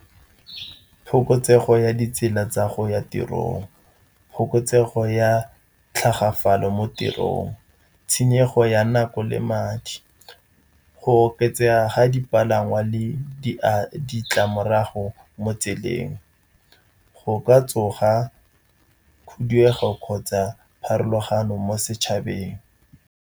Phokotsego ya ditsela tsa go ya tirong, phokotsego ya tlhagafalo mo tirong, tshenyego ya nako le madi, go oketsega ga dipalangwa le a ditlamorago mo tseleng. Go ka tsoga khuduego kgotsa pharologano mo setšhabeng.